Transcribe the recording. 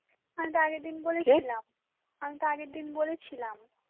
আমি তো আগের দিন বলেছিলাম, , আমি তো আগের দিন বলেছিলাম